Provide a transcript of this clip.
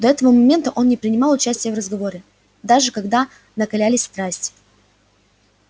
до этого момента он не принимал участия в разговоре даже когда накалялись страсти